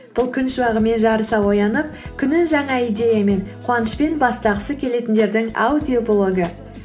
бұл күн шуағымен жарыса оянып күнін жаңа идеямен қуанышпен бастағысы келетіндердің аудиоблогы